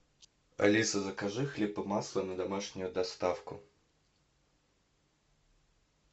алиса закажи хлеб и масло на домашнюю доставку